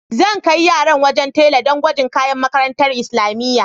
Zan kai yaran wajen tela do gwajin kayan makarantar islamiyya.